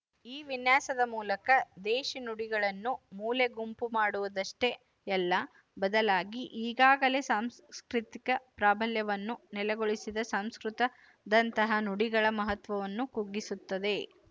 ಈ ವಿನ್ಯಾಸದ ಮೂಲಕ ದೇಶಿ ನುಡಿಗಳನ್ನು ಮೂಲೆಗುಂಪು ಮಾಡುವುದಷ್ಟೇ ಯಲ್ಲ ಬದಲಾಗಿ ಈಗಾಗಲೇ ಸಾಂಸ್ಕೃತಿಕ ಪ್ರಾಬಲ್ಯವನ್ನು ನೆಲೆಗೊಳಿಸಿದ ಸಂಸ್ಕೃತ ದಂತಹ ನುಡಿಗಳ ಮಹತ್ವವನ್ನು ಕುಗ್ಗಿಸುತ್ತದೆ